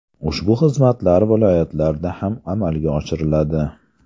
Ushbu xizmatlar viloyatlarda ham amalga oshiriladi”.